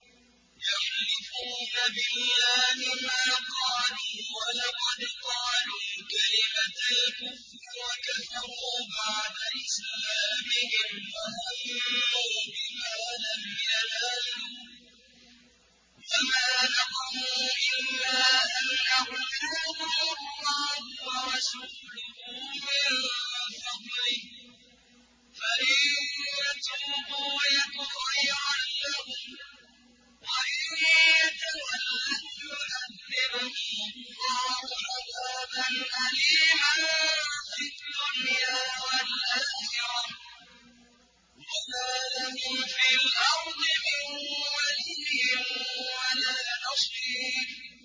يَحْلِفُونَ بِاللَّهِ مَا قَالُوا وَلَقَدْ قَالُوا كَلِمَةَ الْكُفْرِ وَكَفَرُوا بَعْدَ إِسْلَامِهِمْ وَهَمُّوا بِمَا لَمْ يَنَالُوا ۚ وَمَا نَقَمُوا إِلَّا أَنْ أَغْنَاهُمُ اللَّهُ وَرَسُولُهُ مِن فَضْلِهِ ۚ فَإِن يَتُوبُوا يَكُ خَيْرًا لَّهُمْ ۖ وَإِن يَتَوَلَّوْا يُعَذِّبْهُمُ اللَّهُ عَذَابًا أَلِيمًا فِي الدُّنْيَا وَالْآخِرَةِ ۚ وَمَا لَهُمْ فِي الْأَرْضِ مِن وَلِيٍّ وَلَا نَصِيرٍ